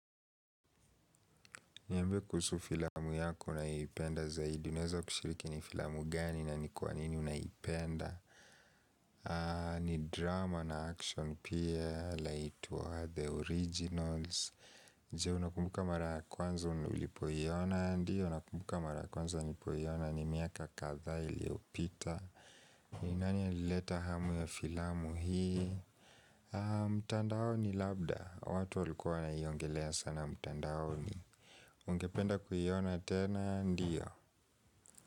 Niambie kuhusu filamu yako unayoipenda zaidi Unaeza kushiriki ni filamu gani na ni kwanini unaipenda ni drama na action pia laitwa The Originals Jeo unakumbuka mara kwanza ulipoiona Ndiyo nakumbuka mara kwanza nlipooina ni miaka kadhaa iliyopita nani alileta hamu ya filamu hii mtandaoni labda watu walikua wanaiongelea sana mtandaoni ungependa kuiona tena ndio.